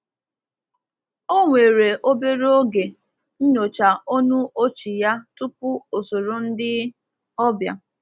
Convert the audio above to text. Ọ were obere oge nyochaa onu ochi ya tupu o soro ndị ọbịa.